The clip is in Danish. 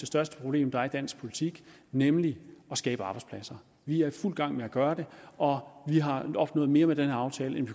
største problem der er i dansk politik nemlig at skabe arbejdspladser vi er i fuld gang med at gøre det og vi har opnået mere med den her aftale end